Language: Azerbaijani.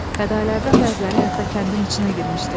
Fədaillərdən bəziləri hətta kəndin içinə girmişdi.